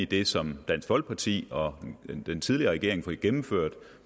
det som dansk folkeparti og den tidligere regering fik gennemført